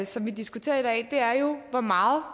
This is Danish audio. som vi diskuterer i dag er jo hvor meget